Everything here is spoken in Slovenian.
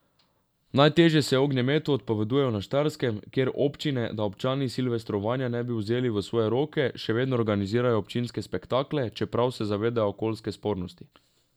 Najtežje se ognjemetu odpovedujejo na Štajerskem, kjer občine, da občani silvestrovanja ne bi vzeli v svoje roke, še vedno organizirajo občinske spektakle, čeprav se zavedajo okoljske spornosti.